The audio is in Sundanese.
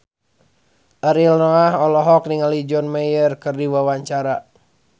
Ariel Noah olohok ningali John Mayer keur diwawancara